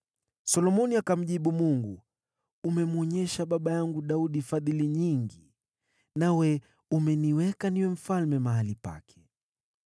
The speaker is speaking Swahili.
Solomoni akamjibu Mungu, “Umemwonyesha baba yangu Daudi fadhili nyingi, nawe umeniweka niwe mfalme mahali pake.